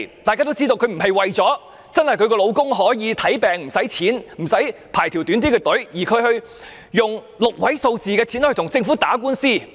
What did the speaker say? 大家都知道，他不是為了丈夫真的可以享用免費醫療、排較短的隊列，而花6位數字的費用來跟政府打官司。